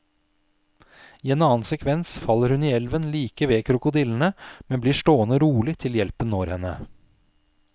I en annen sekvens faller hun i elven like ved krokodillene, men blir stående rolig til hjelpen når henne.